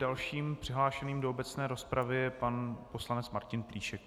Dalším přihlášeným do obecné rozpravy je pan poslanec Martin Plíšek.